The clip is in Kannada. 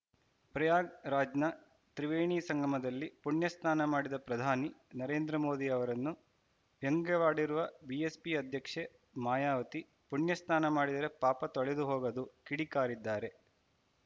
ಪ್ರಯಾಗ್‌ರಾಜ್‌ನ ತ್ರಿವೇಣಿ ಸಂಗಮದಲ್ಲಿ ಪುಣ್ಯಸ್ನಾನ ಮಾಡಿದ ಪ್ರಧಾನಿ ನರೇಂದ್ರ ಮೋದಿ ಅವರನ್ನು ವ್ಯಂಗ್ಯವಾಡಿರುವ ಬಿಎಸ್‌ಪಿ ಅಧ್ಯಕ್ಷೆ ಮಾಯಾವತಿ ಪುಣ್ಯ ಸ್ನಾನ ಮಾಡಿದರೆ ಪಾಪ ತೊಳೆದುಹೋಗದು ಕಿಡಿ ಕಾರಿದ್ದಾರೆ